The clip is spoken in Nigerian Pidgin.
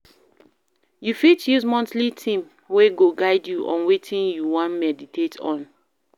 You fit use monthly theme wey go guide you on wetin you wan meditate on